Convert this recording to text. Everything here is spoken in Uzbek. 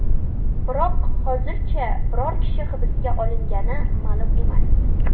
Biroq hozircha biror kishi hibsga olingani ma’lum emas.